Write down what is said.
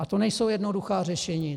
A to nejsou jednoduchá řešení.